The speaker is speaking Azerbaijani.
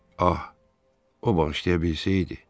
Ah, o bağışlaya bilsəydi.